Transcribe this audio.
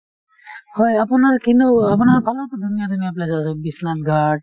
হয় আপোনাৰ কিনো আপোনাৰ ফালেও টো ধুনীয়া ধুনীয়া place আছে , বিশ্বনাথ ঘাট